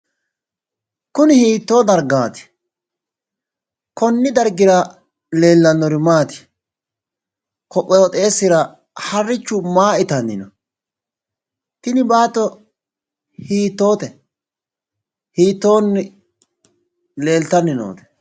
Kunni hiitto dargati? Kunni dargira leelanori maati? Koqooxeesira harichu maa itanni no? Tinni baatto hiittoote? Hiittoonni leeltanni noote?